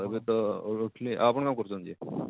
ଏବେ ତ ଉଠିଲି ଆପଣ କଣ କରୁଛନ୍ତି ଯେ?